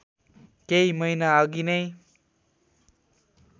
केही महिनाअघि नै